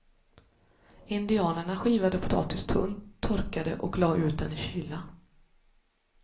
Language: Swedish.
Indianerna skivade potatis tunt, torkade och la ut den i kyla.